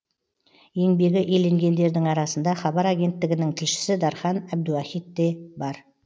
еңбегі еленгендердің арасында хабар агенттігінің тілшісі дархан әбдуахит те бар